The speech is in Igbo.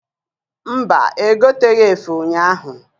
Mba, egoteghi efe ụnyaahụ.